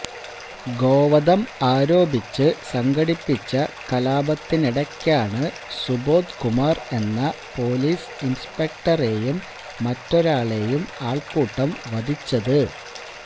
ഗോവധം ആരോപിച്ച് സംഘടിപ്പിച്ച കലാപത്തിനിടയ്ക്കാണ് സുബോധ് കുമാർ എന്ന പൊലീസ് ഇന്സ്പെക്ടറേയും മറ്റൊരാളേയും ആള്ക്കൂട്ടം വധിച്ചത്